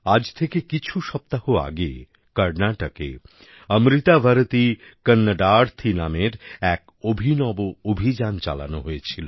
আজ থেকে কিছু সপ্তাহ আগে কর্ণাটকে অমৃতা ভারতী কন্নডার্থী নামের একটি অভিনব অভিযান চালানো হয়েছিল